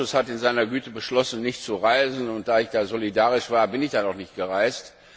Aber der Ausschuss hat in seiner Güte beschlossen, nicht zu reisen, und da ich solidarisch war, bin ich dann auch nicht gereist.